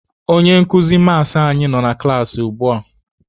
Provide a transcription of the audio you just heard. Onye nkuzi maasị anyị nọ na klaasị ugbua.